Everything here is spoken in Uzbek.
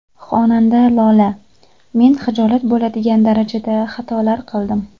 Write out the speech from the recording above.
Xonanda Lola: Men hijolat bo‘ladigan darajada xatolar qildim.